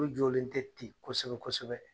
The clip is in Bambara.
U jɔlen tɛ ten kosɛbɛ kosɛbɛ.